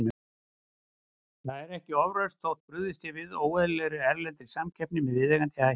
Það er ekki ofrausn þótt brugðist sé við óeðlilegri, erlendri samkeppni með viðeigandi hætti.